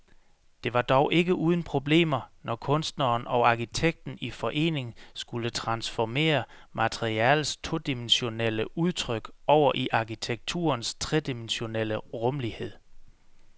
Det var dog ikke uden problemer, når kunstneren og arkitekten i forening skulle transformere maleriets todimensionelle udtryk over i arkitekturens tredimensionelle rumlighed.